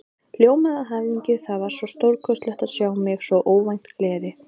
Ljómaði af hamingju, það var svo stórkostlegt að sjá mig, svo óvænt gleði.